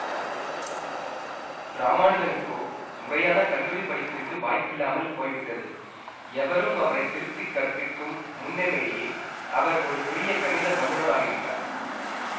இராமானுஜனுக்கோ முறையான கல்லூரி படிப்பிற்கு வாய்ப்பில்லாமல் போய்விட்டது எவரும் அவரை திருத்திக் கற்பிக்கும் முன்னமேயே அவர் ஒரு பெரிய கணித வல்லுனர் ஆகிவிட்டார்